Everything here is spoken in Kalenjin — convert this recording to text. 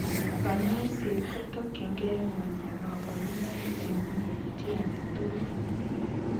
kanyoiseet kotokyinkee konyaa kaborunoik chemii eng' chitoagetugul